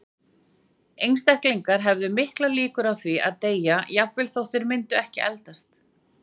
Einstaklingar hefðu miklar líkur á því að deyja, jafnvel þó að þeir myndu ekki eldast.